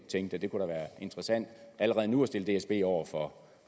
tænkte kunne være interessante allerede nu at stille dsb over for